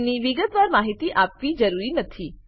તેની વિગતવાર માહિતી આપવી જરૂરી નથી